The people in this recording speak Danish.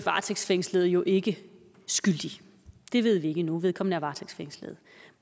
varetægtsfængslede jo ikke skyldig det ved vi ikke endnu vedkommende er varetægtsfængslet